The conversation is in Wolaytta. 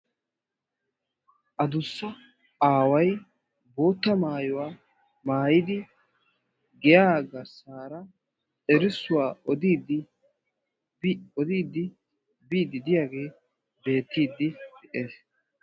Aduussa aawaay bootta maayuwaa maayidi giya garssaraa erissuwaa odidi bi odiiddi biiddi diyage beettiidi de'ees.